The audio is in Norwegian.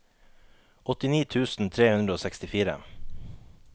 åttini tusen tre hundre og sekstifire